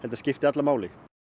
að skipti alla máli